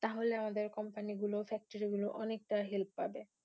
তাহলে আমাদের Company গুলো factory গুলো অনেকটা Help পাবে।